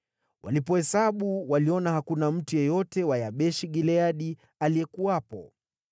Walipohesabu waliona hakuna mtu yeyote wa Yabeshi-Gileadi aliyekuwepo.